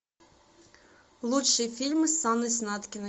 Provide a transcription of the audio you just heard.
лучшие фильмы с анной снаткиной